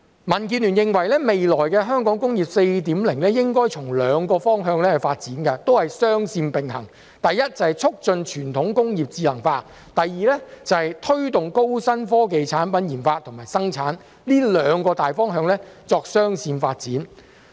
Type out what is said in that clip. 民建聯認為，未來的香港"工業 4.0" 應該從兩個方向發展，雙線並行：第一，促進傳統工業智能化；第二，推動高新科技產品研發及生產，這兩個大方向作雙線發展。